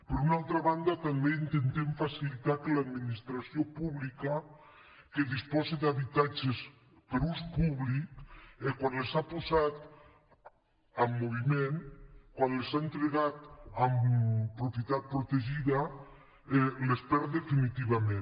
per una altra banda també intentem facilitar que l’administració pública que disposa d’habitatges per a ús públic quan els ha posat en moviment quan els ha entregat en propietat protegida les perd definitivament